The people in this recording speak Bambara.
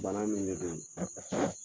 Bana min de don